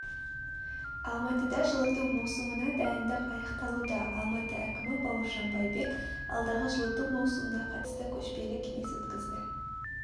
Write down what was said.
алматыда жылыту маусымына дайындық аяқталуда алматы әкімі бауыржан байбек алдағы жылыту маусымына қатысты көшпелі кеңес өткізді